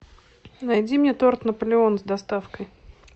найди мне торт наполеон с доставкой